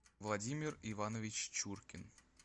владимир иванович чуркин